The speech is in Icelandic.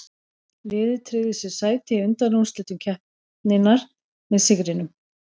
Liðið tryggði sér sæti í undanúrslitum keppninnar með sigrinum.